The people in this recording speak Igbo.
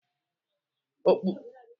Ọkpụisieringo kachasị dị irè n'ebe ụmụaka nọ.